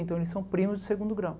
Então eles são primos de segundo grau.